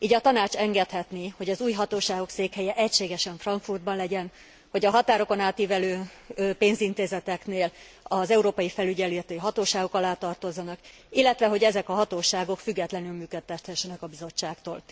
Így a Tanács engedhetné, hogy az új hatóságok székhelye egységesen Frankfurtban legyen, hogy a határokon átívelő pénzintézeteknél az európai felügyeleti hatóságok alá tartozzanak, illetve, hogy ezek a hatóságok függetlenül működhessenek a Bizottságtól.